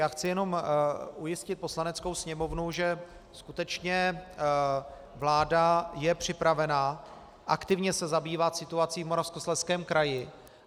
Já chci jenom ujistit Poslaneckou sněmovnu, že skutečně vláda je připravena aktivně se zabývat situací v Moravskoslezském kraji.